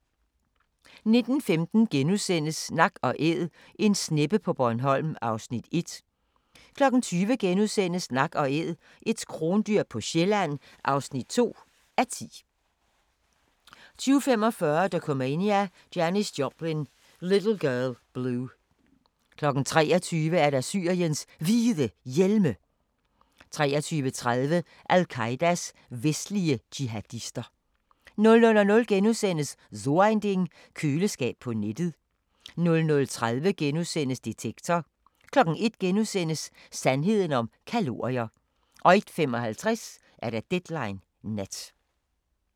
19:15: Nak & Æd – en sneppe på Bornholm (1:10)* 20:00: Nak & Æd – et krondyr på Sjælland (2:10)* 20:45: Dokumania: Janis Joplin – Little Girl Blue 23:00: Syriens Hvide Hjelme 23:30: Al-Qaedas vestlige jihadister 00:00: So Ein Ding: Køleskab på nettet * 00:30: Detektor * 01:00: Sandheden om kalorier * 01:55: Deadline Nat